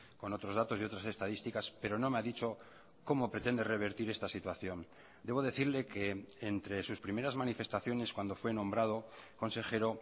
con otros datos y otras estadísticas pero no me ha dicho cómo pretende revertir esta situación debo decirle que entre sus primeras manifestaciones cuando fue nombrado consejero